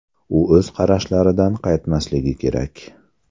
U o‘z qarashlaridan qaytmasligi kerak.